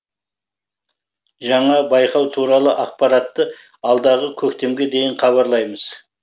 жаңа байқау туралы ақпаратты алдағы көктемге дейін хабарлаймыз